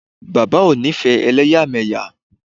Bàbá o ńifẹ́ elẹ́yàmẹ́yà.